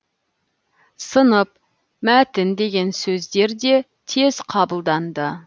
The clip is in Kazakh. сынып мәтін деген сөздер де тез қабылданды